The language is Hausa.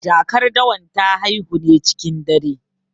Jakar dawan ta haihu ne cikin dare.